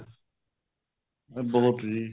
ਬਹੁਤ ਜੀ